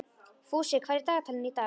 Fúsi, hvað er í dagatalinu í dag?